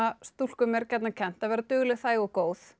stúlkum er gjarnan kennt að vera dugleg þæg og góð